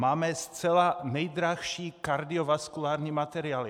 Máme zcela nejdražší kardiovaskulární materiály.